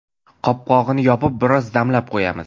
Qopqog‘ini yopib, biroz damlab qo‘yamiz.